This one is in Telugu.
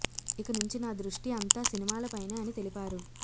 ఇక నుంచి నా దృష్టి అంతా సినిమాలపైనే అని తెలిపారు